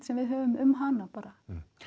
sem við höfum um hana bara